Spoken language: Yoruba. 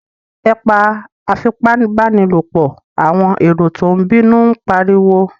Ẹ pa afipábánilòpọ̀! àwọn èrò tó ń bínú ń pariwo.